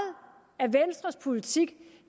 af venstres politik